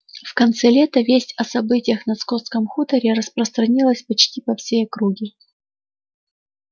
в конце лета весть о событиях на скотском хуторе распространилась почти по всей округе